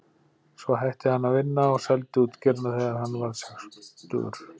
Svo hætti hann að vinna og seldi útgerðina þegar hann varð sextugur.